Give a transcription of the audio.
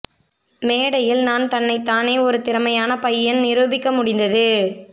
மேடையில் நான் தன்னைத் தானே ஒரு திறமையான பையன் நிரூபிக்க முடிந்தது